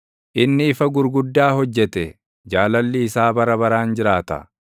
inni ifa gurguddaa hojjete; Jaalalli isaa bara baraan jiraata.